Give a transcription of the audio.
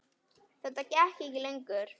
Þetta gekk ekki lengur.